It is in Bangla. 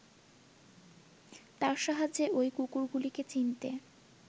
তার সাহায্যে ওই কুকুরগুলিকে চিনতে